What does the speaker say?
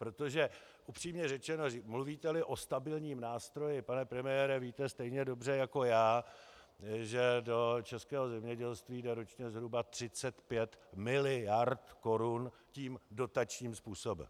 Protože, upřímně řečeno, mluvíte-li o stabilním nástroji, pane premiére, víte stejně dobře jako já, že do českého zemědělství jde ročně zhruba 35 miliard korun tím dotačním způsobem.